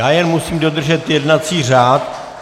Já jen musím dodržet jednací řád.